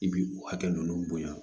I bi o hakɛ ninnu bonya